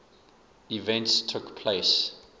events took place